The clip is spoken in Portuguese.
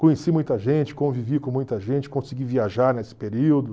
Conheci muita gente, convivi com muita gente, consegui viajar nesse período.